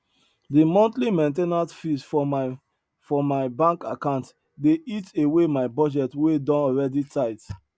de monthly main ten ance fees for my for my bank account dey eat away my budget wey don already tight